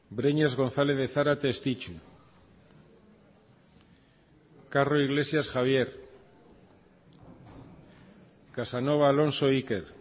breñas gonzález de zárate estitxu carro iglesias javier casanova alonso iker